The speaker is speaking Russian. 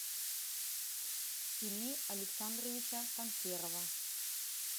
ильи александровича панферова